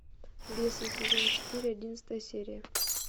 бесы сезон четыре одиннадцатая серия